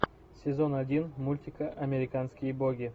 сезон один мультика американские боги